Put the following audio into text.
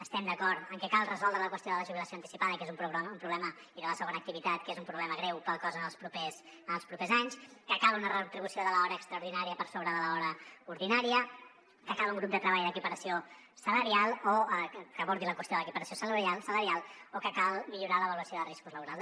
estem d’acord en que cal resoldre la qüestió de la jubilació anticipada i de la segona activitat que és un problema greu per al cos en els propers anys que cal una retribució de l’hora extraordinària per sobre de l’hora ordinària que cal un grup de treball que abordi la qüestió de l’equiparació salarial o que cal millorar l’avaluació de riscos laborals